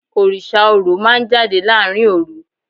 Orísà Orò ma n jadé larín orú